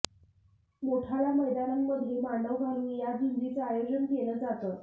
मोठाल्या मैदानांमध्ये मांडव घालून या झुंजींचं आयोजन केलं जातं